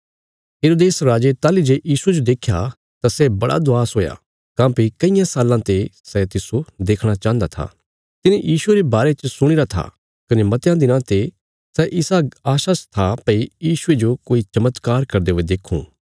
हेरोदेस राजे ताहली जे यीशुये जो देख्या तां सै बड़ा खुश हुया काँह्भई कईयां साल्लां ते सै तिस्सो देखणा चाहन्दा था तिने यीशुये रे बारे च सुणीरा था कने मतयां दिनां ते सै इसा आशा च था भई यीशुये जो कोई चमत्कार करदे हुये देक्खूं